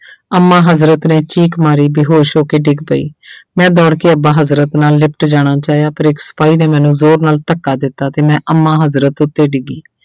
ਅੰਮਾ ਹਜ਼ਰਤ ਨੇ ਚੀਕ ਮਾਰੀ, ਬੇਹੋਸ਼ ਹੋ ਕੇ ਡਿੱਗ ਪਈ ਮੈਂ ਦੌੜ ਕੇ ਅੱਬਾ ਹਜ਼ਰਤ ਨਾਲ ਲਿਪਟ ਜਾਣਾ ਚਾਹਿਆ ਪਰ ਇੱਕ ਸਿਪਾਹੀ ਨੇ ਮੇਨੂੰ ਜ਼ੋਰ ਨਾਲ ਧੱਕਾ ਦਿੱਤਾ ਤੇ ਮੈਂ ਅੰਮਾ ਹਜ਼ਰਤ ਉੱਤੇ ਡਿੱਗੀ।